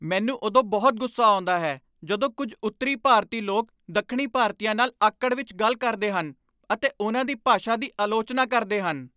ਮੈਨੂੰ ਉਦੋਂ ਬਹੁਤ ਗੁੱਸਾ ਆਉਂਦਾ ਹੈ ਜਦੋਂ ਕੁਝ ਉੱਤਰੀ ਭਾਰਤੀ ਲੋਕ ਦੱਖਣੀ ਭਾਰਤੀਆਂ ਨਾਲ ਆਕੜ ਵਿੱਚ ਗੱਲ ਕਰਦੇ ਹਨ ਅਤੇ ਉਹਨਾਂ ਦੀ ਭਾਸ਼ਾ ਦੀ ਆਲੋਚਨਾ ਕਰਦੇ ਹਨ।